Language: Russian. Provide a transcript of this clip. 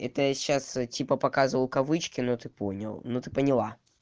это я сейчас типа показывал кавычки но ты понял ну ты поняла